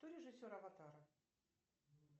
кто режиссер аватара